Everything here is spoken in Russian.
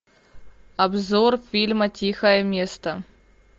обзор фильма тихое место